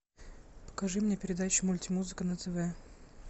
покажи мне передачу мульти музыка на тв